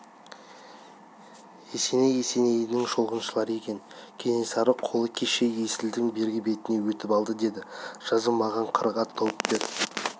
есеней есенейдің шолғыншылары екен кенесары қолы кеше есілдің бергі бетіне өтіп алды деді жазы маған қырық ат тауып бер